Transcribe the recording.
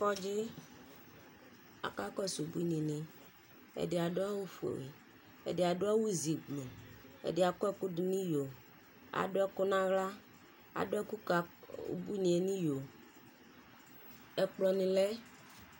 Kɔdzi, akakɔsʋ abuini ni Ɛdi adʋ awʋ fue, ɛdi adʋ awʋ zi gblu, ɛdi akɔ ɛkʋ dʋ n'iyo, adʋ ɛkʋ n'aɣla Adʋ ɛkʋ ka ubuini e nʋ iyo Ɛkplɔ ni lɛ